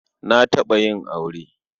Na taɓa yin aure.